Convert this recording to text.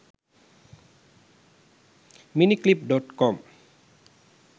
miniclip.com